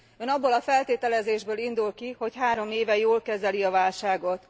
Ön abból a feltételezésből indul ki, hogy három éve jól kezeli a válságot.